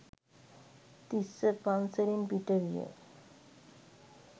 තිස්ස පන්සලෙන් පිටවිය.